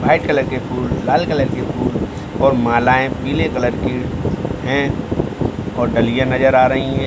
White colour के फूल लाल कलर के फूल और मालाएँ पीले कलर की हैं और डलिया नजर आ रही हैं।